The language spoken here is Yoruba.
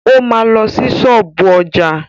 O ma lọ sí ṣọ́ọ̀bú ọjà.